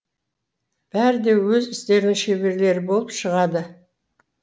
бәрі де өз істерінің шеберлері болып шығады